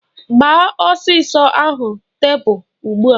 Gbaa osisi ahụ tepu ugbua!